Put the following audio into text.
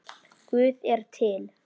Guð er til.